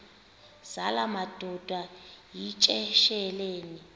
zala madoda yityesheleni